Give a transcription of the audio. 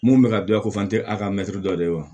Mun bɛ ka dilan ko fan tɛ a ka mɛtiri dɔ de ye wa